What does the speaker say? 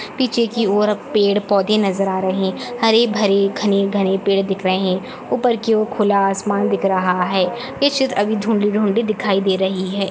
पीछे की ओर अब पेड़ पोधे नज़र आ रहे हैं हरे-भरे घने-घने पेड़ दिख रहे हैं ऊपर की ओर खुला आसमान दिख रहा हैं ये चित्र अभी धुंधली-धुंधली दिखाई दे रही है।